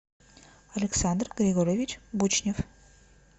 александр григорьевич бучнев